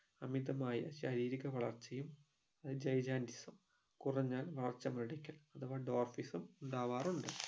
അമിതമായ ശാരീരിക വളർച്ചയും അത് gigantism കുറഞ്ഞാൽ അഥവാ adorphism ഉണ്ടാവാറുണ്ട്